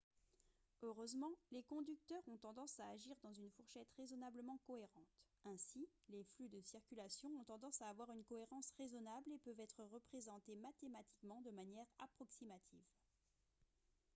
heureusement les conducteurs ont tendance à agir dans une fourchette raisonnablement cohérente ainsi les flux de circulation ont tendance à avoir une cohérence raisonnable et peuvent être représentés mathématiquement de manière approximative